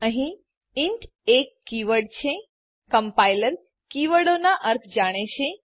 અહીં ઇન્ટ એક કીવર્ડ છે કમ્પાઈલર કીવર્ડો નાં અર્થ જાણે છે